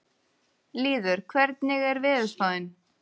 Lýður, hvernig er veðurspáin?